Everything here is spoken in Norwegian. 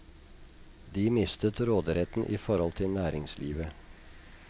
De mistet råderetten i forhold til næringslivet.